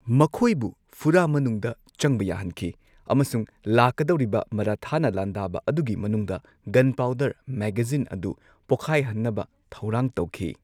ꯃꯈꯣꯢꯕꯨ ꯐꯨꯔꯥ ꯃꯅꯨꯡꯗ ꯆꯡꯕ ꯌꯥꯍꯟꯈꯤ ꯑꯃꯁꯨꯡ ꯂꯥꯛꯀꯗꯧꯔꯤꯕ ꯃꯔꯥꯊꯥꯅ ꯂꯥꯟꯗꯥꯕ ꯑꯗꯨꯒꯤ ꯃꯅꯨꯡꯗ ꯒꯟꯄꯥꯎꯗꯔ ꯃꯦꯒꯥꯖꯤꯟ ꯑꯗꯨ ꯄꯣꯈꯥꯢꯍꯟꯅꯕ ꯊꯧꯔꯥꯡ ꯇꯧꯈꯤ꯫